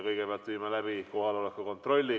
Kõigepealt viime läbi kohaloleku kontrolli.